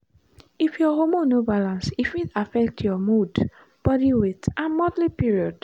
if your hormone no balance e fit affect your mood body weight and monthly period.